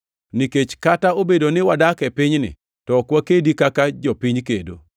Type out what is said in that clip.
Nikech kata obedo ni wadak e pinyni, to ok wakedi kaka jopiny kedo.